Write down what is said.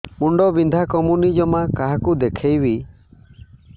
ମୁଣ୍ଡ ବିନ୍ଧା କମୁନି ଜମା କାହାକୁ ଦେଖେଇବି